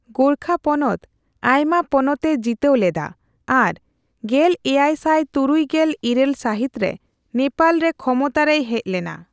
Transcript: ᱜᱳᱨᱠᱷᱟ ᱯᱚᱱᱚᱛ ᱟᱭᱢᱟ ᱯᱚᱱᱚᱛ ᱮ ᱡᱤᱛᱟᱹᱣ ᱞᱮᱫᱟ ᱟᱨ ᱜᱮᱞᱮᱭᱟᱭᱥᱟᱭ ᱛᱩᱨᱩᱭ ᱜᱮᱞ ᱤᱨᱟᱹᱞ ᱥᱟᱹᱦᱤᱛ ᱨᱮ ᱱᱮᱯᱟᱞ ᱨᱮ ᱠᱷᱚᱢᱚᱛᱟ ᱨᱮᱭ ᱦᱮᱡ ᱞᱮᱱᱟ ᱾